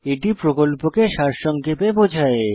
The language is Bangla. এটি প্রকল্পকে সারসংক্ষেপে বোঝায়